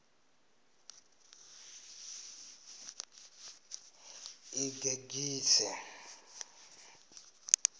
ḽigegise